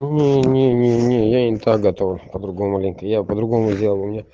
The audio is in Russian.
не не не не я не так готовлю по другому ленты я по другому сделал у меня